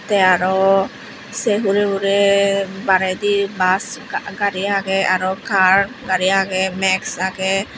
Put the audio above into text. tay arow saye huray huray baraydi bush gari aagay arow car gari aagay max aagay.